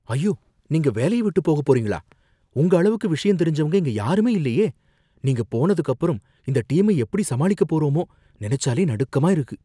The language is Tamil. ஐயோ! நீங்க வேலைய விட்டு போக போறீங்களா? உங்க அளவுக்கு விஷயம் தெரிஞ்சவங்க இங்க யாருமே இல்லையே! நீங்க போனதுக்கு அப்புறம் இந்த டீமை எப்படி சமாளிக்க போறோமோ! நினைச்சாலே நடுக்கமா இருக்கு.